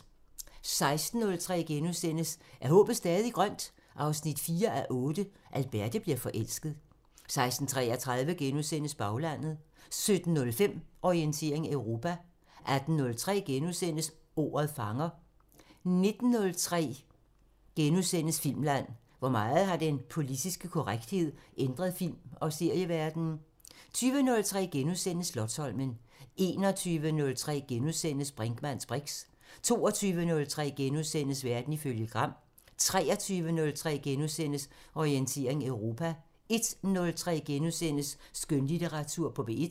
16:03: Er håbet stadig grønt? 4:8 – Alberte bliver forelsket * 16:33: Baglandet * 17:05: Orientering Europa 18:03: Ordet fanger * 19:03: Filmland: Hvor meget har den politiske korrekthed ændret film- og serieverdenen? * 20:03: Slotsholmen * 21:03: Brinkmanns briks * 22:03: Verden ifølge Gram * 23:03: Orientering Europa * 01:03: Skønlitteratur på P1 *